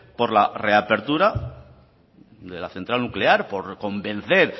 por la reapertura de la central nuclear por convencer